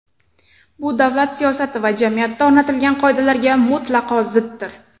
Bu davlat siyosati va jamiyatda o‘rnatilgan qoidalarga mutlaqo ziddir.